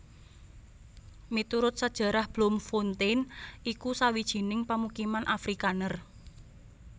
Miturut sajarah Bloemfontein iku sawijining pamukiman Afrikaner